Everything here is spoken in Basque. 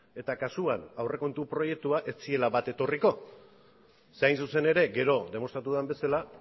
eta kasuan aurrekontu proiektua ez zirela bat etorriko zeren hain zuzen ere gero demostratu den bezala